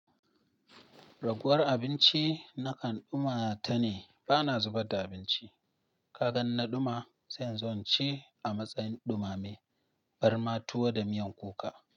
Raguwar abinci na kan ɗuma ta ne ba na zubar da abinci. Kagan in na ɗuma, sai zan ci a matsayin ɗumame, barma tuwo da miyan kuka.